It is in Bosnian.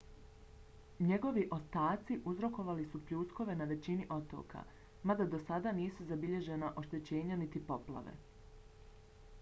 njegovi ostaci uzrokovali su pljuskove na većini otoka mada do sada nisu zabilježena oštećenja niti poplave